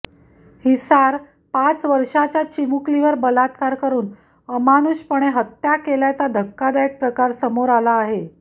हिसार पाच वर्षांच्या चिमुकलीवर बलात्कार करुन अमानुषपणे हत्या केल्याचा धक्कादायक प्रकार समोर आला आहे